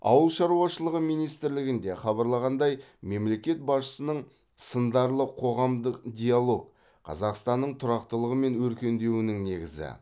ауыл шаруашылығы министрлігінде хабарлағандай мемлекет басшысының сындарлы қоғамдық диалог қазақстанның тұрақтылығы мен өркендеуінің негізі